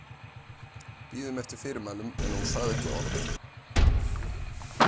Biðum eftir fyrirmælum en hún sagði ekki orð.